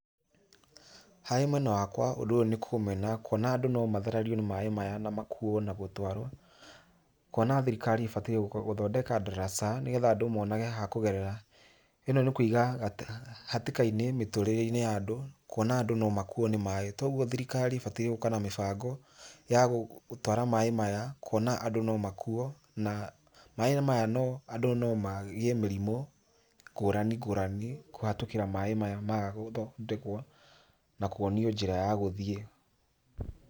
Harĩ mwena wakwa, ũndũ ũyũ nĩ kũũmena kuona andũ no mathererio nĩ maĩ maya na makuo na gũtwarwo, kuona thirikari ibataire gũthondeka ndaraca nĩgetha andũ monage ha kũgerera. Inó nĩ kũiga hatĩka-inĩ mĩtũrĩre-inĩ ya andũ, kuona andũ no makuo nĩ maĩ, toguo thirikari ibataire gũka na mĩbango ya gũtwara maĩ maya, kuona andũ no makuo, maĩ maya andũ no magĩe mĩrimũ ngũrani ngũrani kũhĩtũkĩra maĩ maya maga gũthondekwo na kuonio njĩra ya gũthiĩ.